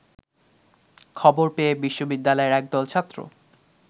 খবর পেয়ে বিশ্ববিদ্যালয়ের একদল ছাত্র